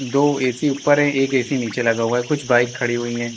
दो ए_सी ऊपर है एक ए_सी नीचे लगा हुआ है कुछ बाइक खड़ी हुई हैं।